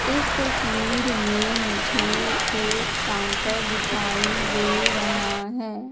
इस तस्वीर में मुझे एक काउंटर दिखाई दे रहा है।